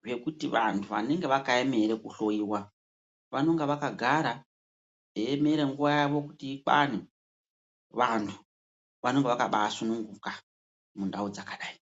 zvekuti vantu vanenge vakaemera kuhloyiwa vanonga vakagara veiemere nguva yavo kuti ikwane. Vantu vanenge vakabaasununguka mundau dzakadai.